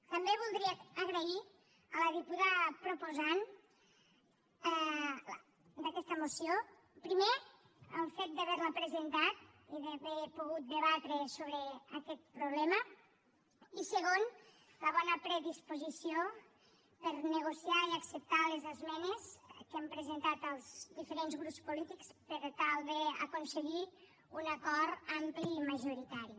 també voldria agrair a la diputada proposant d’aquesta moció primer el fet d’haver la presentat i d’haver pogut debatre sobre aquest problema i segon la bona predisposició per a negociar i acceptar les esmenes que hem presentat els diferents grups polítics per tal d’aconseguir un acord ampli i majoritari